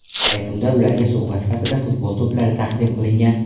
Yakunda ularga sovg‘a sifatida futbol to‘plari taqdim qilingan.